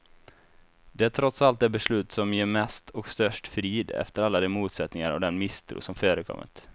Det är trots allt det beslut som ger mest och störst frid, efter alla de motsättningar och den misstro som förekommit.